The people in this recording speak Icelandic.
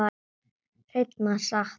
Hreina satt.